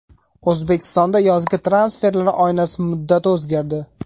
O‘zbekistonda yozgi transferlar oynasi muddati o‘zgardi.